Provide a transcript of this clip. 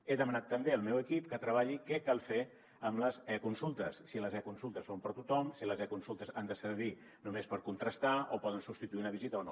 he demanat també al meu equip que treballi què cal fer amb les econsultes si les econsultes són per a tothom si les econsultes han de servir només per contrastar o poden substituir una visita o no